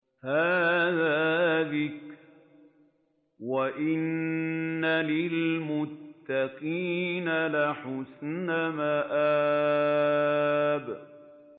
هَٰذَا ذِكْرٌ ۚ وَإِنَّ لِلْمُتَّقِينَ لَحُسْنَ مَآبٍ